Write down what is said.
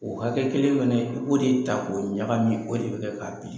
O hakɛ kelen fana i b'o de ta k'o ɲagamin o de bɛ kɛ k'a bili.